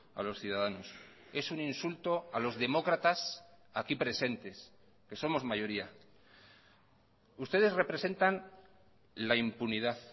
a los ciudadanos es un insulto a los demócratas aquí presentes que somos mayoría ustedes representan la impunidad